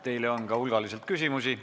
Teile on ka hulgaliselt küsimusi.